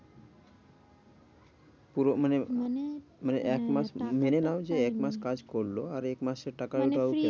পুরো মানে মানে মানে এক হ্যাঁ মাস টাকাটাও মেনে নাও যে এক মাস কাজ করলো আর এক মাসের টাকাটাও মানে তুই পেলো না।